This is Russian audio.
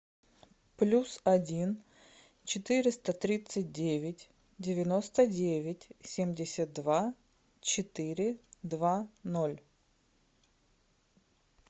плюс один четыреста тридцать девять девяносто девять семьдесят два четыре два ноль